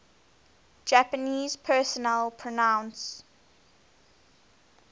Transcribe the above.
japanese personal pronouns